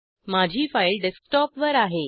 माझी फाईल डेस्कटॉपवर आहे